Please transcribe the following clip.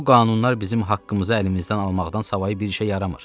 Bu qanunlar bizim haqqımızı əlimizdən almaqdan savayı bir işə yaramır.